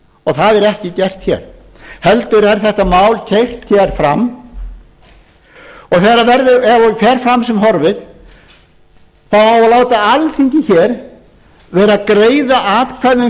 og það er ekki gert hér heldur er þetta mál keyrt hér fram og ef það fer fram sem horfir á að láta alþingi hér vera að greiða atkvæði um